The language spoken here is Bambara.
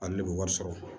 Ale de bɛ wari sɔrɔ